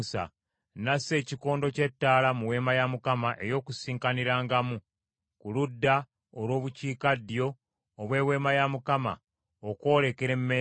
N’assa ekikondo ky’ettaala mu Weema ey’Okukuŋŋaanirangamu ku ludda olw’Obukiikaddyo obw’Eweema ya Mukama , okwolekera emmeeza,